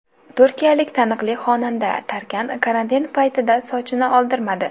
Turkiyalik taniqli xonanda Tarkan karantin paytida sochini oldirmadi.